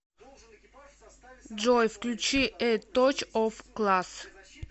джой включи э точ оф класс